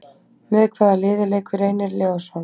Með hvaða liði leikur Reynir Leósson?